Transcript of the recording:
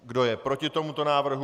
Kdo je proti tomuto návrhu?